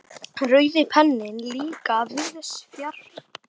Rauði penninn líka víðs fjarri.